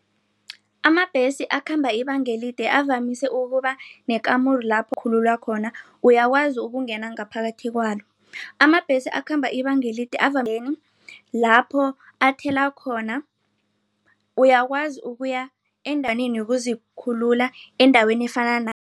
Amabhesi akhamba ibanga elide avamise ukuba nekamuru lapho uzikhulula khona uyakwazi ukungena ngaphakathi kwalo. Amabhesi akhambe ibanga elide lapho athela khona uyakwazi ukuya yokuzikhulula endaweni